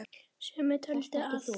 Sumir töldu að